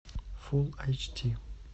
фулл айч ди